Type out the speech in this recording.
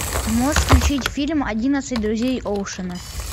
можешь включить фильм одиннадцать друзей оушена